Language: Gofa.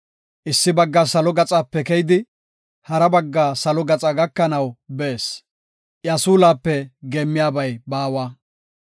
Issi bagga salo gaxape keyidi, hara bagga salo gaxa gakanaw bees; iya suulape geemmiyabay baawa.